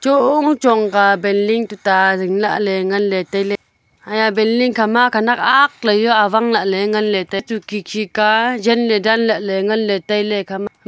Chong chong ka building tuta jing lahle ngan le taile haya building kha ma khanak aak ley jao awang lahle ngan taile tun khikhi ka jen le dan lahle ngan taile ekha ma.